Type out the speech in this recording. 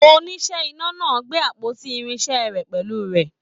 Oníṣẹ́ iná náà gbé àpótí irinṣẹ rẹ pẹlú rẹ.